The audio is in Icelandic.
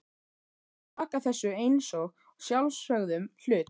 Hún virðist taka þessu einsog sjálfsögðum hlut.